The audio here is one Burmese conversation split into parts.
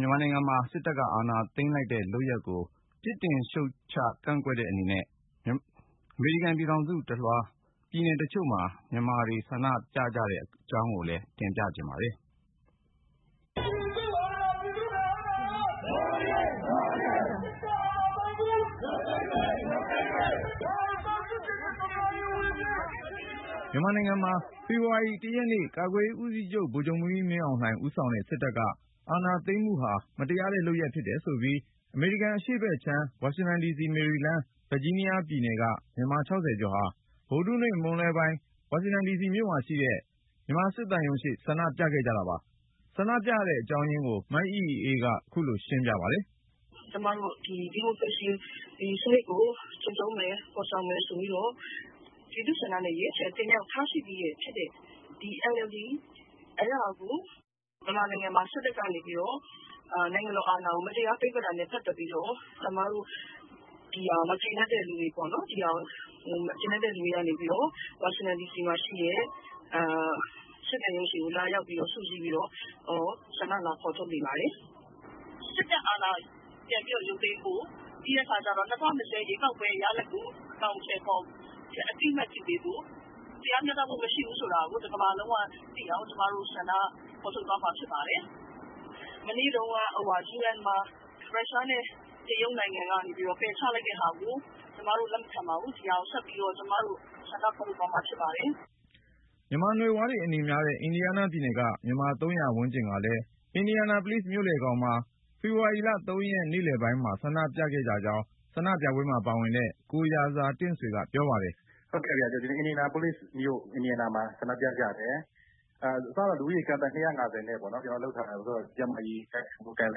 မြန်မာနိုင်ငံမှာ စစ်တပ်က အာဏာသိမ်းလိုက်တဲ့ လုပ်ရပ်ကို ပြစ်တင်ရှုတ်ချ ကန့်က ွက်တဲ့ အနေနဲ့ အမေရိကန်ပြည်ထောင်စုတလွှား ပြည်နယ်တချို့မှာ မြန်မာတွေ ဆန္ဒပြကြတဲ့ အကြောင်းကို ကိုဉာဏ်ဝင်းအောင်က စုစည်း တင်ပြထားပါတယ်။ မြန်မာနိုင်ငံမှာ ဖေဖေါ်ဝါရီ ရက်နေ့ ကာကွယ်ရေးဦးစီးချုပ် ဗိုလ်ချုပ်မှူးကြီး မင်းအောင်လှိုင် ဦးဆောင်တဲ့ စစ်တပ်က အာဏာသိမ်းမှုဟာ မတရားတဲ့ လုပ်ရပ်ဖြစ်တယ်ဆိုပြီး အမေရိကန် အရှေ့ဘက်ခြမ်း ဝါရှင်တန်ဒီစီ ၊ မေရီလန်း ၊ ဗာဂျီးနားယားပြည်နယ်တွေက မြန်မာ ကျော်ဟာ ဗုဒဟူးနေ့ မွန်းလွဲပိုင်း ဝါရှင်တန်ဒီစီမှာရှိတဲ့ မြန်မာစစ်သံရုံးရှေ့ဆန္ဒပြကြပါတယ်။ ဆန္ဒပြရတဲ့ အကြောင်းရင်းကို မအိအိအေးက ခုလို ရှင်းပြပါတယ်။ “ကျမတို့ ဒီ ဒီမိုကရေစီ စနစ်ကို ကျင်းသုံးမယ် ဖေါ်ဆောင်မယ်ဆိုပြီးတော့ ပြည်သူ့ဆန္ဒနဲ့ ရွေးချယ်တင်မြှောက်ထားပြီးသားဖြစ်တဲ့ ဒီ NLD အစိုးရကို မြန်မာနိုင်ငံမှာ စစ်တပ်က နိုင်ငံတော်အာဏာကို မတရား သိမ်းပိုက်ခဲ့တာနဲ့ ပတ်သက်ပြီးတော့ ဒါကိုမကြေနပ်တဲ့အတွက် ကျမတို့ ဝါရှင်တန်ဒီစီမှာရှိတဲ့ စစ်သံရုံးရှေ့ လာရောက်ပြီး ဆန္ဒဖေါ်ထုတ်နေပါတယ်။ စစ်တပ်အာဏာ ပြန်လည်ရုပ်သိမ်းဖို့ ၊ ၂၀၂၀ ရွေးကောက်ပွဲ ရလဒ်ကို အသိအမှတ်ပြု အကောင်အထည်ဖေါ်ပေးဖို့နဲ့ တရားမျှတမှု မရှိဘူးဆိုတာကို ကမ္ဘာကသိအောင် ကျမတို့ ဖေါ်ထုတ်သွားမှာ ဖြစ်ပါတယ်။ မနေ့တုန်းက ကုလသမဂ္ဂမှာ မြန်မာ့အရေး အရေးပေါ်ဆွေးနွေးချိန်မှာ တရုတ်နဲ့ ရုရှားက ပယ်ချလိုက်တာကို ကျမတို့ လက်မခံပါဘူး။ ဒါကို ကျမတို့ ဆက်ပြီးဆန္ဒပြသွားမှာ ဖြစ်ပါတယ်။” မြန်မာနွယ်ဖွားတွေ အနေများတဲ့ အင်ဒီယားနားပြည်နယ်က မြန်မာ ၃၀၀ ဝန်းကျင်ကလည်း အင်ဒီယာနာပိုလိစ်မြို့လယ်ခေါင်မှာ ဖေဖေါ်ဝါရီ ၃ ရက် နေ့လည်မှာ ဆန္ဒပြခဲ့ကြကြောင်း ဆန္ဒပြပွဲမှာပါတဲ့ ကိုရာဇာတင့်ဆွေက ပြောပါတယ်။ “အင်ဒီယားနားပြည်နယ် အင်ဒီယာနာပိုလိစ်မြို့မှာ ဆန္ဒပြကြတာပါ။ ကိုဗစ် ကျန်းမာရေးစည်းကမ်းတွေနဲ့အညီ အစက လူ ၂၅၀ လောက်နဲ့ ဆန္ဒပြဖို့ စီစဉ်ခဲ့ပေမ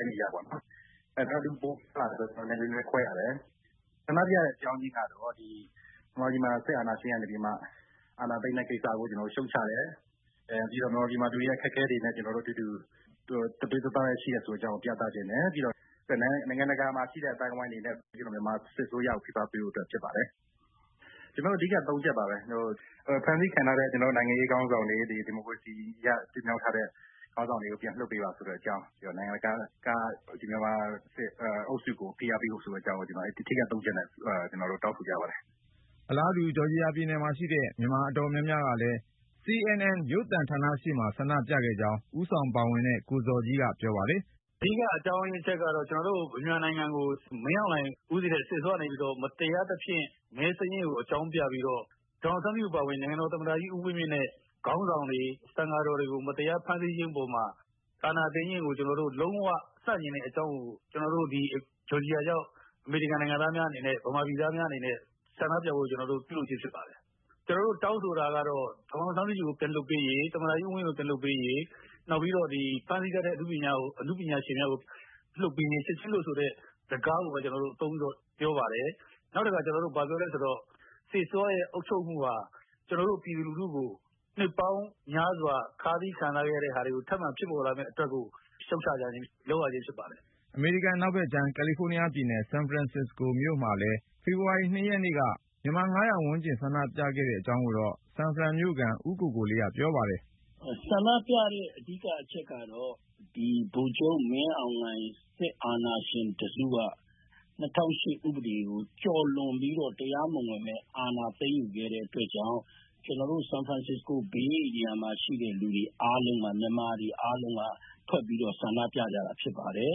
ယ့် လက်တွေ့မှာ လူပိုများလာလို့ လူခွဲပြီးဆန္ဒပြရတယ်။ ဆန္ဒပြရတာကတော့ မြန်မာပြည်မှာ စစ်အာဏာသိမ်းတဲ့ ကိစ္စကို ကျနော်တို့ ရှုတ်ချတယ်။ ပြီးတော့ မြန်မာပြည်မှာ လူတွေအခက်အခဲ ကြုံနေရတာကို သူတို့နဲ့အတူ တသွေးတသားထဲ ရှိတယ်ဆိုတာကို ပြသချင်တယ်။ ပြီးတော့ နိုင်ငံတကာ အသိုင်းအဝိုင်းက မြန်မာစစ်အစိုးရကို ဖိအားပေးဖို့ ဖြစ်ပါတယ်။ ကျနော်တို့ တောင်းဆိုတာ ၃ ချက်က ဖမ်းဆီးခံထားရတဲ့ နိုင်ငံရေးခေါင်းဆောင်တွေ ၊ ဒီမိုကရေစီနည်းအရ တင်မြှောက်ထားတဲ့ ဖမ်းဆီးခံ ခေါင်းဆောင်တွေကို ပြန်လွှတ်ပေးပါ ဆိုတဲ့အကြောင်း၊ ပြီးတော့ နိုင်ငံတကာက မြန်မာစစ်အုပ်စုကို ဖိအားပေးဖို့ ဆိုတဲ့အကြောင်း အဓိက တောင်းဆိုကြပါတယ်။” အလားတူ ဂျော်ဂျီယာပြည်နယ်မှာရှိတဲ့ မြန်မာအတော်များများကလည်း ပြည်နယ်ရဲ့မြို့တော် အတ္တလန္တာမှာရှိတဲ့ CNN ရုပ်သံဌာနရှေ့ ဆန္ဒပြခဲ့ကြောင်း ဦးဆောင်ပါဝင်တဲ့ ကိုဇော်ကြီးက ပြောပါတယ်။ “အဓိက အကြောင်းကတော့ ကျနော်တို့မြန်မာနိုင်ငံကို မင်းအောင်လှိုင်ဦးစီးတဲ့ စစ်အစိုးရကနေပြီးတော့ မတရားသဖြင့် မဲစာရင်းကို အကြောင်းပြပြီးတော့ ဒေါ်အောင်ဆန်းစုကြည် အပါဝင် နိုင်ငံတော်သမ္မတကြီး ဦးဝင်မြင့်နဲ့ ခေါင်းဆောင်တွေ သံဃာတော်တွေကို မတရား ဖမ်းဆီးခြင်းအပေါ်မှာ အာဏာသိမ်းခဲ့တာကို ကျနော်တို့ လုံးဝ ဆန့်ကျင်တဲ့အကြောင်းကို ကျနော်တို့ ဂျော်ဂျီယာရောက် မြန်မာ-အမေရိကန်တွေ အနေနဲ့ ဆန္ဒပြပွဲကို ပြုလုပ်ခြင်း ဖြစ်ပါတယ်။ ကျနော်တို့ တောင်းဆိုတာက ဒေါ်အောင်ဆန်းစုကြည်ကို ပြန်လွှတ်ပေးရေး သမ္မတကြီး ဦးဝင်းမြင့်ကို ပြန်လွှတ်ပေးရေး၊ နောက်ပြီး ဖမ်းဆီးထားတဲ့ အနုပညာရှင်များကို ချက်ချင်းလွှတ်ဆိုတာကို တောင်းဆိုပါတယ်။ စစ်အစိုးရနဲ့ အုပ်ချုပ်မှုဟာ ကျနော်တို့ ပြည်သူလူထု နှစ်ပေါင်းများစွာ ခါးစည်းခံစားရတာတွေ ဖြစ်ပေါ်စေခဲ့လို့ ခုလို ရှုတ်ချရခြင်း ဖြစ်ပါတယ်။” အမေရိကန် အနောက်ဖက်ခြမ်း ကယ်လီဖိုးနီးယားပြည်နယ် ဆန်ဖရန်စစ်စကို မြို့မှာလည်း ဖေဖေါ်ဝါရီ ၂ ရက်နေ့က မြန်မာ ၅၀၀ ဝန်းကျင်ဆန္ဒပြခဲ့ကြတဲ့ အကြောင်းကိုတော့ ဆန်ဖရန်မြို့ခံ ဦးကိုကိုလေးက ပြောပါတယ်။ “ ဆန္ဒပြရတဲ့ အဓိက အကြောင်းကတော့ ဗိုလ်ချုပ်မင်းအောင်လှိုင်နဲ့ စစ်အာဏာရှင်တစုက ၂၀၀၈ ဥပဒေကို ကျော်လွန်ပြီးတော့ တရားမဝင် အာဏာသိမ်းယူခဲ့တဲ့ အတွက်ကြောင့် ကျနော်တို့ ဆန်ဖရန်စစ္စကို ဧရိယာမှာရှိတဲ့ မြန်မာတွေအားလုံး ထွက်ပြီးဆန္ဒပြကြတာ ဖြစ်ပါတယ်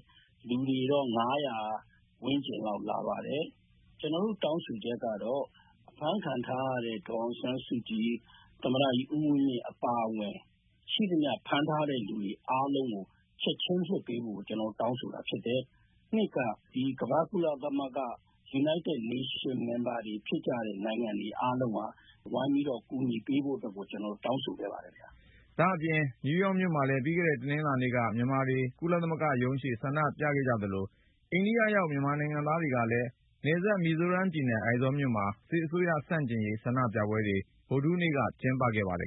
။ လူတွေ ၅၀၀ ဝန်းကျင်လာပါတယ်။ ကျနော်တို့ တောင်းဆိုချက်ကတော့ အဖမ်းခံထားရတဲ့ ဒေါ်အောင်ဆန်းစုကြည် ၊ သမ္မတကြီး ဦးဝင်းမြင့် အပါအဝင် ရှိသမျှ ဖမ်းထားတဲ့လူတွေ အကုန်လုံးကို ချက်ချင်းလွှတ်ပေးဖို့ ကျနော်တို့ တောင်းဆိုတာဖြစ်တယ်။ နောက်ပြီး ကုလသမဂ္ဂ အဖွဲ့ဝင်နိုင်ငံတွေကလည်း ဝိုင်းပြီးကူညီပေးဖို့အတွက် ကျနော်တို့ တောင်းဆိုခဲ့ပါတယ်။” နယူးယောက်မြို့မှာလည်း ပြီးခဲ့တဲ့ တနင်္လာနေ့က မြန်မာတွေ ကုလသမဂ္ဂရှေ့ ဆန္ဒပြခဲ့သလို ၊ အိန္ဒိယနိုင်ငံရောက် မြန်မာတွေကလည်း နယ်စပ် မီဇိုးရမ်ပြည်နယ် အိုင်ဇောမြို့မှာ စစ်အစိုးရဆန့်ကျင်ရေး ဆန္ဒပြပွဲတွေ ဗုဒဟူးနေ့က ကျင်းပခဲ့ကြပါတယ်။